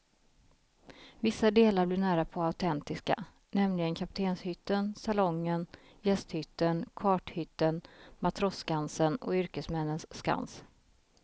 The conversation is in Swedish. Vissa delar blir närapå autentiska, nämligen kaptenshytten, salongen, gästhytten, karthytten, matrosskansen och yrkesmännens skans.